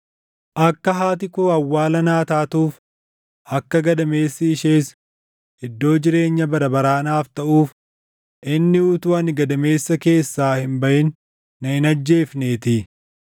Akka haati koo awwaala naa taatuuf, akka gadameessi ishees iddoo jireenya bara baraa naaf taʼuuf inni utuu ani gadameessa keessaa hin baʼin na hin ajjeefneetii.